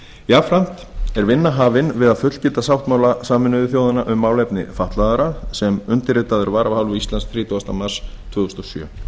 jafnframt er vinna hafin við að fullgilda sáttmála sameinuðu þjóðanna um málefni fatlaðra sem undirritaður var af hálfu íslands þrítugasta mars tvö þúsund og sjö